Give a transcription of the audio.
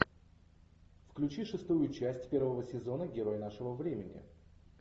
включи шестую часть первого сезона герой нашего времени